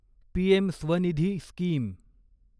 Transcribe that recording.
PM Svanidhi scheme